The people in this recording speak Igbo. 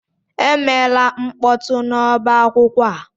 Emela mkpọtụ n'ọba akwụkwọ a!